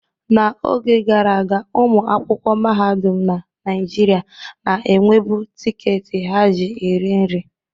N'oge gara aga, ụmụ akwụkwọ mahadum na Naịjirịa na-enwebu tiketi ha ji eri nri.